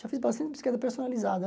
Já fiz bastante bicicleta personalizada.